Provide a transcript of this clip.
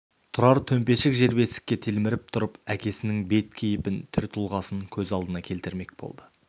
тұрар төмпешік жербесікке телміріп тұрып әкесінің бет-кейпін түр-тұлғасын көз алдына келтірмек болды